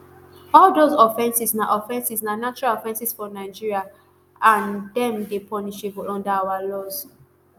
all dose offences na offences na natural offences for nigeria and dem dey punishable under our laws